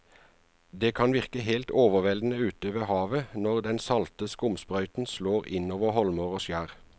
Det kan virke helt overveldende ute ved havet når den salte skumsprøyten slår innover holmer og skjær.